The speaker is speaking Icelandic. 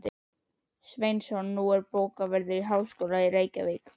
Sveinsson, nú bókavörður háskólans í Reykjavík.